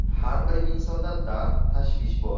Har bir insonda dard-tashvish bor.